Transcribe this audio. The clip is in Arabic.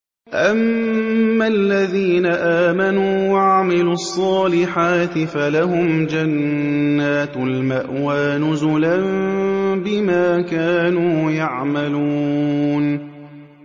أَمَّا الَّذِينَ آمَنُوا وَعَمِلُوا الصَّالِحَاتِ فَلَهُمْ جَنَّاتُ الْمَأْوَىٰ نُزُلًا بِمَا كَانُوا يَعْمَلُونَ